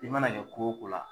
I mana ɲɛ ko o ko la.